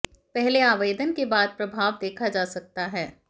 पहले आवेदन के बाद प्रभाव देखा जा सकता है